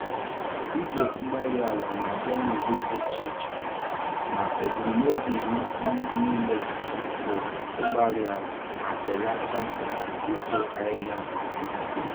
igwe-mgbárí-ala na-abịa n'ụdị dị iche iche, ma ebum nobi ha um nile bụ ịgbàri àlà ma belata uto ahịhịa nke ọma.